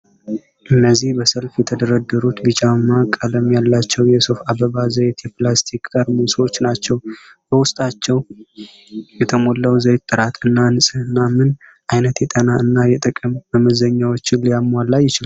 እነዚህ በሰልፍ የተደረደሩት ቢጫማ ቀለም ያላቸው የሱፍ አበባ ዘይት የፕላስቲክ ጠርሙሶች ናቸው፡፡ በውስጣቸው የተሞላው ዘይት ጥራት እና ንፅህና ምን አይነት የጤና እና የጥቅም መመዘኛዎችን ሊያሟላ ይችላል?